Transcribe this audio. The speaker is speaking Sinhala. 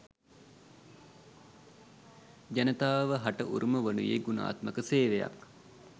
ජනතාව හට උරුම වනුයේ ගුණාත්මක සේවයක්